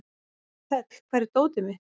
Þöll, hvar er dótið mitt?